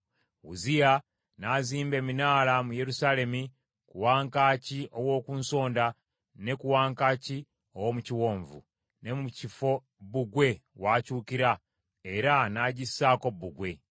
Uzziya n’azimba eminaala mu Yerusaalemi ku wankaaki ow’oku Nsonda, ne ku wankaaki ow’omu Kiwonvu, ne mu kifo bbugwe w’akyukira, era n’agissaako bbugwe.